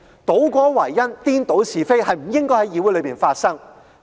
倒果為因，顛倒是非，是不應該在議會裏發生的。